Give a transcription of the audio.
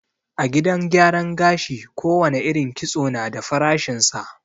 A gidan gyaran gashi ko wane irin kitso na da farashin sa